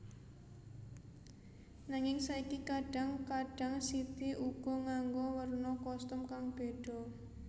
Nanging saiki kadhang kadhang City uga nganggo werna kostum kang beda